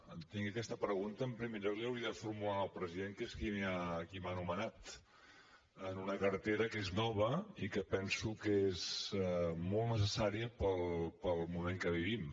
entenc que aquesta pregunta en primer lloc li hauria de formular al president que és qui m’ha nomenat en una cartera que és nova i que penso que és molt necessària pel moment que vivim